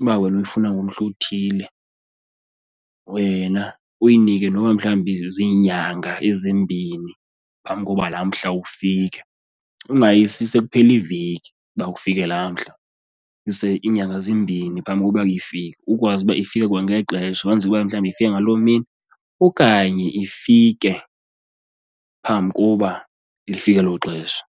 uba wena uyifuna ngomhla othile wena uyinike noba mhlawumbi ziinyanga ezimbini phambi koba laa mhla ufike, ungayisi sekuphela iveki uba kufike laa mhla. Yise iinyanga zimbini phambi kokuba ifike kukwazi uba ifike kwangexesha kwenzeke uba mhlawumbi ifike ngaloo mini okanye ifike phambi koba lifike elo xesha.